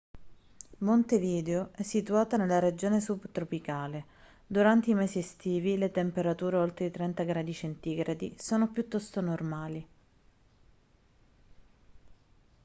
montevideo è situata nella regione subtropicale; durante i mesi estivi le temperature oltre i 30°c sono piuttosto normali